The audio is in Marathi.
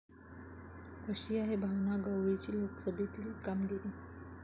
कशी आहे भावना गवळींची लोकसभेतील कामगिरी?